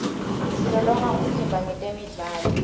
silolonga umtimba ngetemidlalo